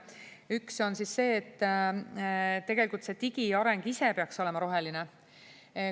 Üks on see, et tegelikult see digiareng ise peaks olema roheline.